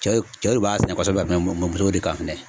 Cɛ cɛw de b'a sɛnɛ kosɛbɛ ka tɛmɛ musow de kan fɛnɛ.